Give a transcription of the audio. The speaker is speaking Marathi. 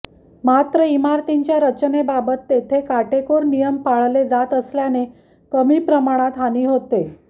मात्र इमारतींच्या रचनेबाबत तेथे काटेकोर नियम पाळले जात असल्याने कमी प्रमाणात हानी होते